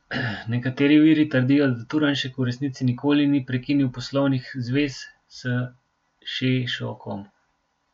Nekateri viri trdijo, da Turnšek v resnici nikoli ni prekinil poslovnih zvez s Šešokom.